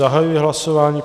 Zahajuji hlasování.